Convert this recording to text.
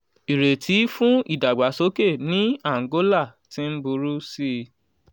ìrètí fún ìdàgbàsókè ní àǹgólà ti ń burú sí i.